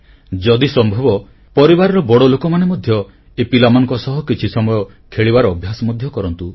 ଯଦି ସମ୍ଭବ ପରିବାରର ବଡ଼ ଲୋକମାନେ ମଧ୍ୟ ଏ ପିଲାମାନଙ୍କ ସହ କିଛି ସମୟ ଖେଳିବାର ଅଭ୍ୟାସ ମଧ୍ୟ କରନ୍ତୁ